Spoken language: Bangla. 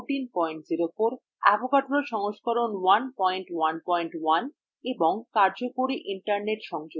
avogadro সংস্করণ 111 এবং কার্যকরী internet সংযোগ